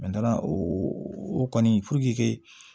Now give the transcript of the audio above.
o o kɔni